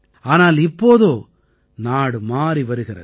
ஆனால் இப்போதோ நாடு மாறி வருகிறது